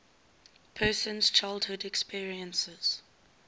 person's childhood experiences